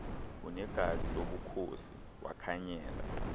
unegazi lobukhosi wakhanyela